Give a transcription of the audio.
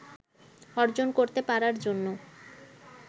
অর্জন করতে পারার জন্য